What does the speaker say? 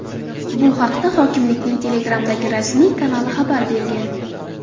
Bu haqda hokimlikning Telegram’dagi rasmiy kanali xabar bergan.